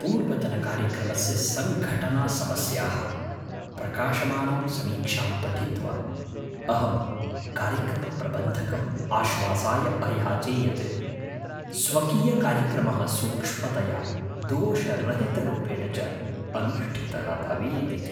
पूर्वतनकार्यक्रमस्य सङ्घटनासमस्याः प्रकाशमानां समीक्षां पठित्वा, अहं कार्यक्रमप्रबन्धकम् आश्वासाय अयाचे यत् स्वकीयकार्यक्रमः सूक्ष्मतया दोषरहितरूपेण च अनुष्ठितः भवेदिति।